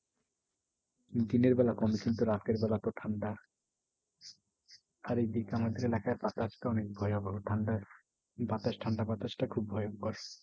দিনের বেলা কম কিন্তু রাতের বেলা তো ঠান্ডা। আর এই দিকে আমাদের এলাকায় বাতাস অনেক ভয়াবহ। ঠান্ডা বাতাস ঠান্ডা বাতাসটা অনেক ভয়ঙ্কর।